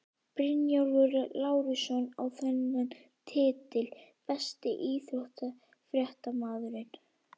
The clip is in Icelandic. Bjarnólfur Lárusson á þennan titil Besti íþróttafréttamaðurinn?